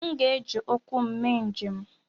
M ga-eji ụkwụ m mee njem.